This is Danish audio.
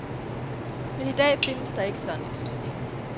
Men i dag findes der ikke sådan et system.